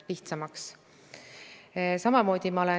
Ja see saab takistuseks nende maale elama siirdumisel või maale jäämisel.